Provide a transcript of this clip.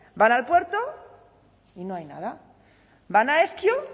van al puerto y no hay nada van a ezkio